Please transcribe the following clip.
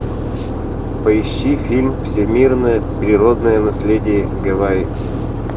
поищи фильм всемирное природное наследие гавайи